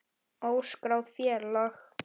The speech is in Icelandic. Óskráð félag.